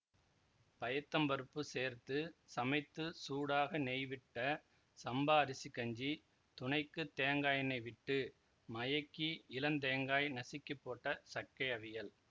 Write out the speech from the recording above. பயத்தம்பருப்பு சேர்த்து சமைத்து சூடாக நெய்விட்ட சம்பா அரிசிக்கஞ்சி துணைக்கு தேங்காயெண்ணை விட்டு மயக்கி இளந்தேங்காய் நசுக்கிப்போட்ட சக்கை அவியல்